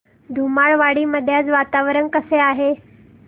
धुमाळवाडी मध्ये आज वातावरण कसे आहे